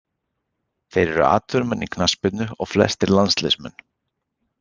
Þeir eru atvinnumenn í knattspyrnu og flestir landsliðsmenn.